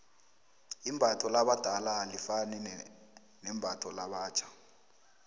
imbatho labadala alifani nembatho labatjho